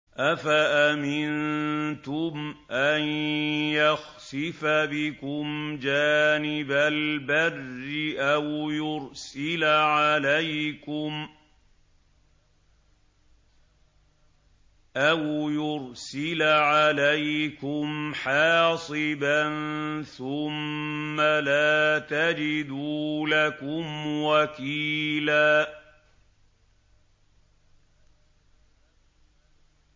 أَفَأَمِنتُمْ أَن يَخْسِفَ بِكُمْ جَانِبَ الْبَرِّ أَوْ يُرْسِلَ عَلَيْكُمْ حَاصِبًا ثُمَّ لَا تَجِدُوا لَكُمْ وَكِيلًا